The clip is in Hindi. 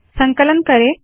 संकलन करे